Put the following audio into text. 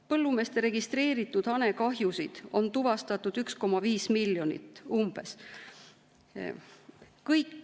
Põllumeeste registreeritud hanekahjusid on tuvastatud umbes 1,5 miljonit.